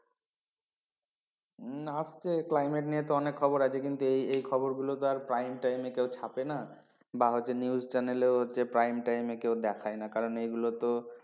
উম আজকে climate নিয়ে তো অনেক খবর আছে কিন্তু এই এই খবর গুলো তো prime time এ ছাপে না বা হচ্ছে news channel ও হচ্ছে prime টাইমে কেও দেখায় না কারণ এগুলো তো